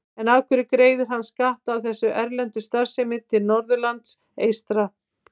En af hverju greiðir hann skatta af þessari erlendu starfsemi til Norðurlands eystra?